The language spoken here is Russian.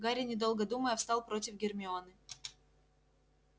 гарри недолго думая встал против гермионы